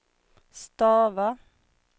stava